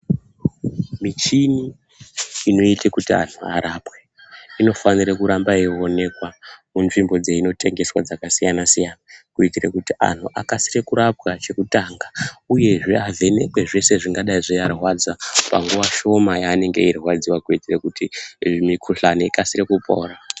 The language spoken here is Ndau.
Michini ino ite kuti anhu arapwe ino fanire ku ramba yei onekwa ku nzvimbo dzeino tengeswa dzaka siyana siyana kuitire kuti anhu akasire ku rapwa che kutanga uyezve avhenekwe zvese zvingadai zvei arwadza pa nguva shoma ya anenge eyi rwadziwa kuitire kuti mikuhlani ikasire kupora.